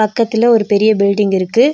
பக்கத்துல ஒரு பெரிய பில்டிங் இருக்கு.